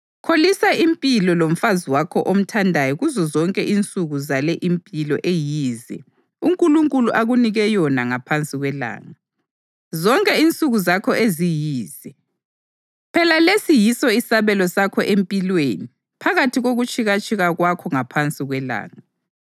Kholisa impilo lomfazi wakho omthandayo kuzozonke insuku zale impilo eyize uNkulunkulu akunike yona ngaphansi kwelanga, zonke insuku zakho eziyize. Phela lesi yiso isabelo sakho empilweni phakathi kokutshikatshika kwakho ngaphansi kwelanga.